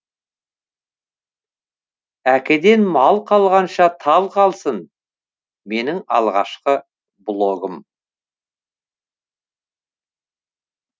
әкеден мал қалғанша тал қалсын менің алғашқы блогым